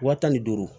Wa tan ni duuru